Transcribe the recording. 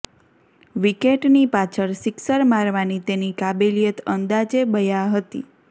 વિકેટની પાછળ સિક્સર મારવાની તેની કાબેલિયત અંદાજે બયા હતી